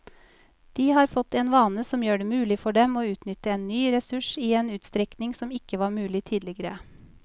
De har fått en vane som gjør det mulig for dem å utnytte en ny ressurs i en utstrekning som ikke var mulig tidligere.